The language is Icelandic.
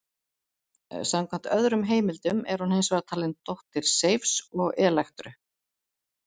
Samkvæmt öðrum heimildum er hún hins vegar talin dóttir Seifs og Elektru.